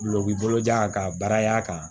Glɔki bolojan ka baara kan